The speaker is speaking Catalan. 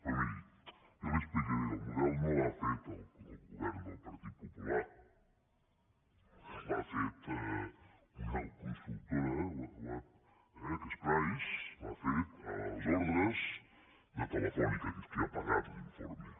però miri jo li ho explicaré el model no l’ha el govern del partit popular l’ha fet una con·sultora eh que és price l’ha fet a les ordres de te·lefónica que és qui ha pagat l’informe